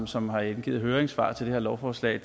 som har indgivet høringssvar til det her lovforslag